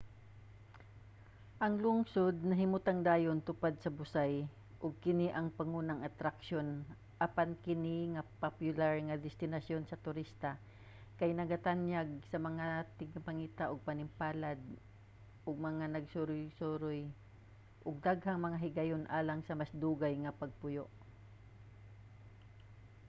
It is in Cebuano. ang lungsod nahimutang dayon tupad sa busay ug kini ang pangunang atraksyon apan kini nga popular nga destinasyon sa turista kay nagatanyag sa mga tigpangita sa panimpalad ug mga magsusuroy og daghang mga higayon alang sa mas dugay nga pagpuyo